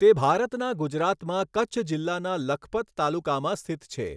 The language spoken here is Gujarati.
તે ભારતના ગુજરાતમાં કચ્છ જિલ્લાના લખપત તાલુકામાં સ્થિત છે.